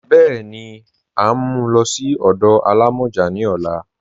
Bẹ́ẹni, à n mú ú lọ sí ọdọ àlàmọjá ní ọ̀là